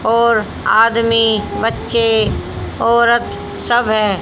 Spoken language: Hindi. और आदमी बच्चे औरत सब हैं।